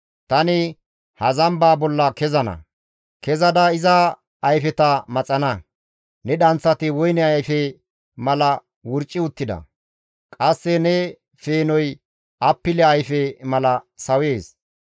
Tani ha zamba bolla kezana; kezada iza ayfeta maxana; ne dhanththati woyne ayfe mala wurccotti uttida; qasse ne peenoy appile ayfe mala sawees.